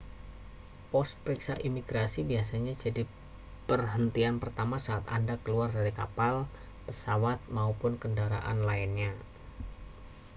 pos periksa imigrasi biasanya jadi perhentian pertama saat anda keluar dari kapal pesawat maupun kendaraan lainnya